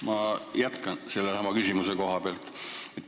Ma jätkan sellesama küsimuse teemaga.